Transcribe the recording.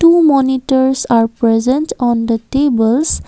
two monitors are present on the tables.